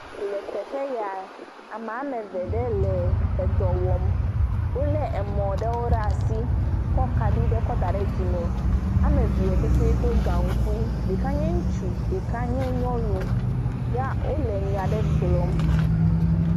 Le teƒe ya, ame eve ɖe li le dɔ wɔm. Wolé mɔ aɖewo ɖe asi kɔ kaɖi ɖe kɔ da ɖe dzime. Ame evea petɛ do gaŋkui, ɖeka nye ŋutsu, ɖeka nye nyɔnu ya wolé nya aɖe gblɔm.